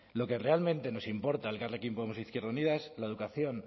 lo que realmente nos importa a elkarrekin podemos e izquierda unida es la educación